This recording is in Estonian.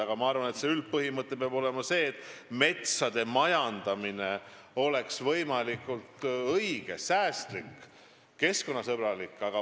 Aga ma arvan, et üldpõhimõte peab olema see, et metsade majandamine oleks võimalikult säästlik, keskkonnasõbralik.